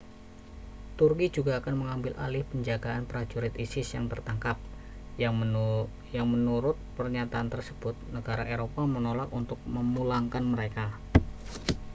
turki juga akan mengambil alih penjagaan prajurit isis yang tertangkap yang menurut pernyatan tersebut negara eropa menolak untuk memulangkan mereka